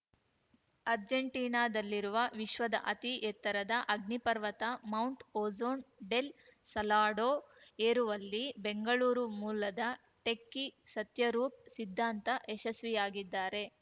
ಅರ್ಜೆಂಟೀನಾದಲ್ಲಿರುವ ವಿಶ್ವದ ಅತಿ ಎತ್ತರದ ಅಗ್ನಿಪರ್ವತ ಮೌಂಟ್‌ ಓಜೋನ್ ಡೆಲ್‌ ಸಲಾಡೋ ಏರುವಲ್ಲಿ ಬೆಂಗಳೂರು ಮೂಲದ ಟೆಕ್ಕಿ ಸತ್ಯರೂಪ್‌ ಸಿದ್ಧಾಂತ ಯಶಸ್ವಿಯಾಗಿದ್ದಾರೆ